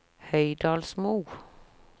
Høydalsmo